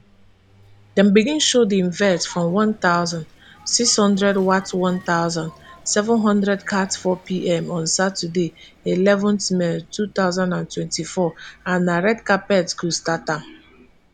dem begin show di event from one thousand, six hundred wat one thousand, seven hundredcat fourpm on saturday eleven may two thousand and twenty-four and na red carpet go start am